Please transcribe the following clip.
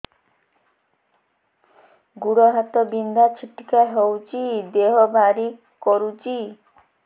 ଗୁଡ଼ ହାତ ବିନ୍ଧା ଛିଟିକା ହଉଚି ଦେହ ଭାରି କରୁଚି